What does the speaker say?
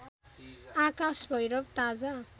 आकाश भैरव ताजा